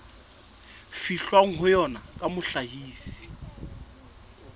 fihlwang ho yona ya mohlahisi